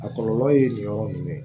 A kɔlɔlɔ ye nin yɔrɔ nin dɛ